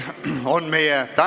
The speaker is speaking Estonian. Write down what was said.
Istungi lõpp kell 10.10.